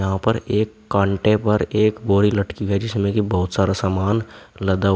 यहां पर एक कांटे पर एक बोरी लटकी है जिसमें कि बहुत सारा सामान लदा हुआ--